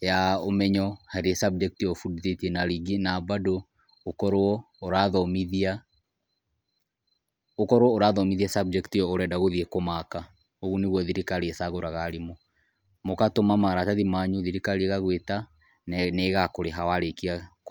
ya ũmenyo harĩ subject ĩyo ũbundithĩtie, na rĩngĩ, na mbandũ ũkorwo ũrathomithia, ũkorwo ũrathomithia subject ĩyo ũrathiĩ kũmaaka. Ũguo nĩguo thirikari ĩcagũraga arimũ, mũgatũma maratathi manyu, thirikari ĩgagũĩta na nĩ ĩgakũrĩha warĩkia.